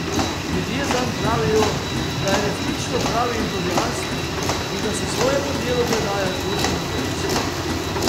Ljudje zanj pravijo, da je resnično pravi entuziast in da se svojemu delu predaja z dušo in telesom.